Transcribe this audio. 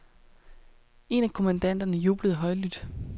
En af kommandanterne jublede højlydt.